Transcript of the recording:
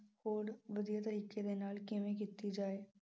ਹੋਰ ਵਧੀਆ ਤਰੀਕੇ ਦੇ ਨਾਲ ਕਿਵੇਂ ਕੀਤੀ ਜਾਵੇ।